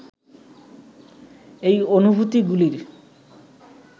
এই অনুভূতিগুলির